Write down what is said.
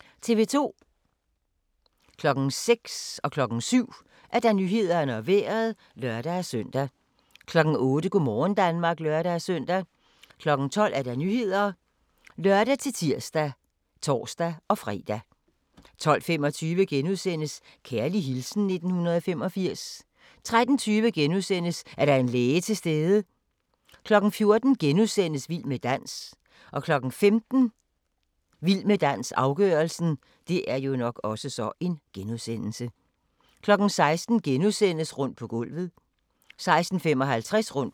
06:00: Nyhederne og Vejret (lør-søn) 07:00: Nyhederne og Vejret (lør-søn) 08:00: Go' morgen Danmark (lør-søn) 12:00: Nyhederne (lør-tir og tor-fre) 12:25: Kærlig hilsen 1985 * 13:20: Er der en læge til stede? * 14:00: Vild med dans * 15:00: Vild med dans - afgørelsen 16:00: Rundt på gulvet * 16:55: Rundt på gulvet